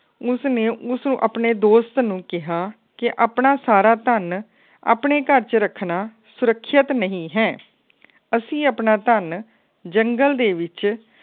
ਉਸ ਨੇ ਉਸ ਆਪਣੇ ਦੋਸਤ ਨੂੰ ਕਿਹਾ ਕੇ ਆਪਣਾ ਸਾਰਾ ਧੰਨ ਆਪਣੇ ਘਰ ਚ ਰੱਖਣਾ ਸੁਰੱਖਿਅਤ ਨਹੀਂ ਹੈ। ਅਸੀ ਆਪਣਾ ਧੰਨ ਜੰਗਲ ਦੇ ਵਿੱਚ